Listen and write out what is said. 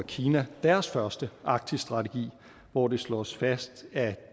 kina deres første arktisstrategi hvor det slås fast at